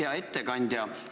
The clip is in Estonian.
Hea ettekandja!